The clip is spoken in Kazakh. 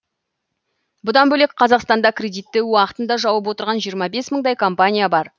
бұдан бөлек қазақстанда кредитті уақытында жауып отырған жиырма бес мыңдай компания бар